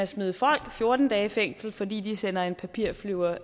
smide folk fjorten dage i fængsel fordi de sender en papirflyver